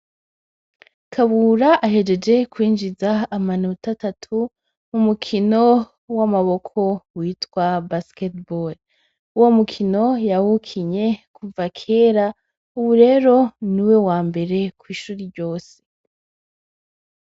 kabura ahereje kwinjiza amanota atatu mu mukino w'amaboko witwa basketball. Uwo mukino yawukinye kuva kera ubu rero ni we wa mbere kw'ishuri ryose.